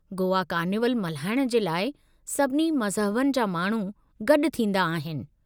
Goa carnival मल्हाइण जे लाइ सभिनी मज़हबनि जा माण्हू गॾु थींदा आहिनि।